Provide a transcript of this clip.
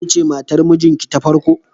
Kece matar mijinki ta farko?